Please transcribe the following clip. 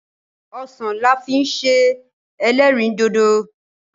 Osan la fi n se elerindodo